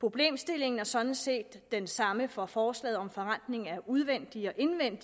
problemstillingen er sådan set den samme for forslaget om forrentning af udvendig og indvendig